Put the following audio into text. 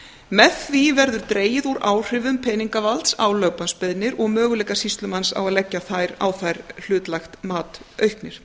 með því verður dregið úr áhrifum peningavalds á lögbannsbeiðnir og möguleikar sýslumanns á að leggja á þær hlutlægt mat auknir